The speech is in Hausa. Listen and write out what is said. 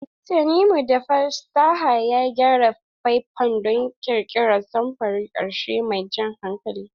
Tanimu da fasaha ya gyara faifan don ƙirƙirar samfurin ƙarshe mai jan hankali.